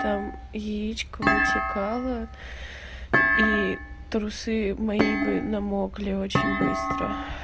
там яичко вытекало и трусы мои бы намокли очень быстро